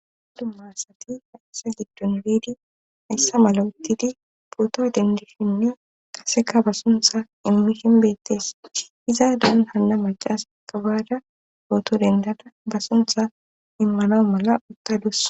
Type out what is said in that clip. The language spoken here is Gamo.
adummarsati hayssa giddon biidi hayssa mala uttidi pooto dendishinne qaseka ba suntha immihinbettes iza daan hanna macaasakka baada ooto dendada ba suntha immano mala uttadus